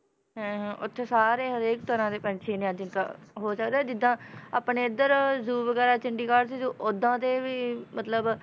ਹਾਂ ਹਾਂ ਉੱਥੇ ਸਾਰੇ ਹਰੇਕ ਤਰ੍ਹਾਂ ਦੇ ਪੰਛੀ ਨੇ ਆ ਜਿੱਦਾਂ ਹੋ ਸਕਦਾ ਜਿੱਦਾਂ ਆਪਣੇ ਇੱਧਰ zoo ਵਗ਼ੈਰਾ ਚੰਡੀਗੜ੍ਹ 'ਚ ਜੋ ਓਦਾਂ ਦੇ ਵੀ ਮਤਲਬ